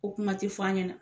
Ko kuma tɛ f'an ɲɛna.